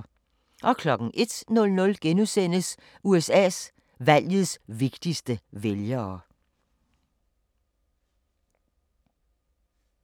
01:00: USA: Valgets vigtigste vælgere *